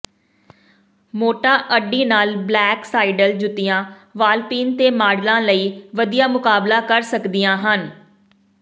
ਮੋਟਾ ਅੱਡੀ ਨਾਲ ਬਲੈਕ ਸਾਈਡਲ ਜੁੱਤੀਆਂ ਵਾਲਪਿਨ ਤੇ ਮਾਡਲਾਂ ਲਈ ਵਧੀਆ ਮੁਕਾਬਲਾ ਕਰ ਸਕਦੀਆਂ ਹਨ